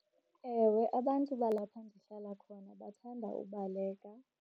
Ewe, abantu balapha ndihlala khona bathanda ubaleka.